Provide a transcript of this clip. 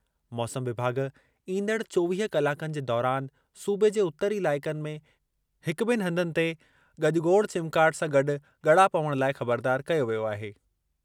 मौसम विभाॻु ईंदड़ चोवीह कलाकनि जे दौरान सूबे जे उतरी इलाइक़नि में हिक ॿिनि हंधनि ते ॻजॻोड़ चिमकाट सां गॾु ॻड़ा पवण लाइ ख़बरदारु कयो वियो आहे।